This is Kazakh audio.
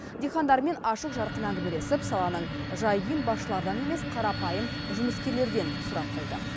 диқандармен ашық жарқын әңгімелесіп саланың жай күйін басшылардан емес қарапайым жұмыскерлерден сұрап білді